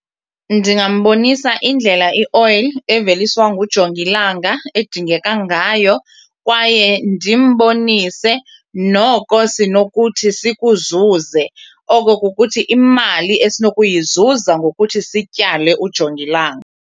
Ndingambonisa indlela i-oil eveliswa ngujongilanga edingeka ngayo kwaye ndimbonise noko sinokuthi sikuzuze, oko kukuthi imali esinokuyizuza ngokuthi sityale ujongilanga.